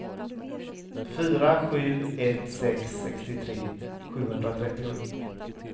fyra sju ett sex sextiotre sjuhundratrettiosju